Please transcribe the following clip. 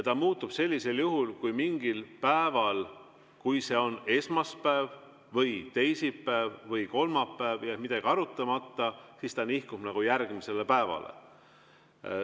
Ta muutub sellisel juhul, et kui mingil päeval, on see esmaspäev või teisipäev või kolmapäev, jääb midagi arutamata, siis see nihkub järgmisele päevale.